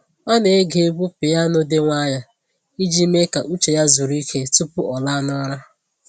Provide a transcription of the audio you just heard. Ọ na-ege egwu piyano dị nwayọọ iji mee ka uche ya zuru ike tupu ọ laa n’ụra.